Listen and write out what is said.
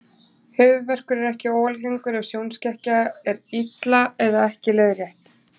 Höfuðverkur er ekki óalgengur ef sjónskekkja er illa eða ekki leiðrétt.